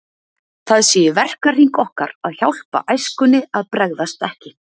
Það sé í verkahring okkar að hjálpa æskunni að bregðast ekki.